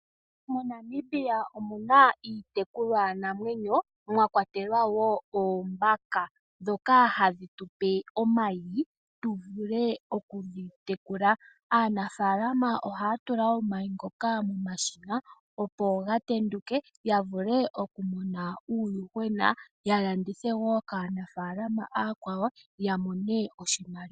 MoNamibia omuna iitekulwa namwenyo mwakwatelwa wo oondjuhwa dhoka hadhi tupe omayi tu vule okudhi tekula. Aanafalama ohaya tula omayi ngoka momashina opo ga tenduke ya vule oku mona uuuhwena ya landithe wo kaanafalama oya kwawo ya mone oshimaliwa.